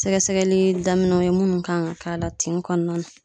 Sɛgɛsɛgɛli daminɛw ye munnu kan ka k'a la tin kɔnɔna na